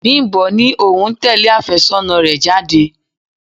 Bimbo ní òun ń tẹle afésónà rẹ̀ jáde.